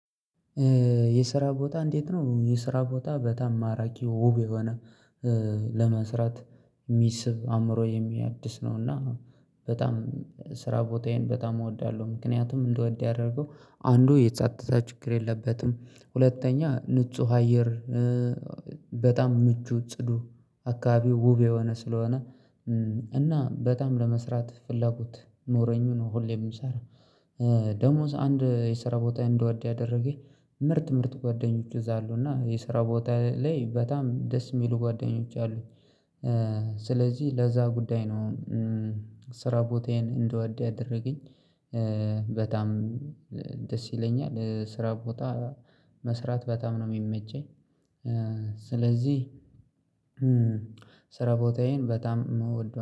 የስራ ቦታ እንዴት ነው? የስራ ቦታ በጠምማራኪ ውብ የሆነ ለመስራት የሚስብ አእምሮ የሚያድስ ነው። እና በጣም ስራ ቦታዬን በጣም እወዳለሁ። ምክንያቱም እንድወድ ያደርገው አንዱ የጻጥታ ችግር የለበትም። ሁለተኛ ንጹህ አየር በጣም ምቹ ጽዱ አካባቢው ውብ የሆነ ስለሆነ እና በጣም ለመስራት ፍላጎት ኖሮኝ ነው። ሁሌ የምሰራው ደሞ አንድ የሰራ ቦታ እንድወድ ያደረገኝ ምርጥ ምርጥ ጓደኞች እዛ አሉ እና የስራ ቦታ ላይ በጣም ደስ የሚሉ ጓደኞች አሉኝ። ስለዚህ ለዛ ጉዳይ ነው። ስራ ቦታዬን እንድወድ ያደረገኝ በጣም ደስ ይለኛል። ስራ ቦታ መስራት በጣም ነው የሚመቸኝ። ስለዚህ ስራ ቦታዬን በጣም ምወደው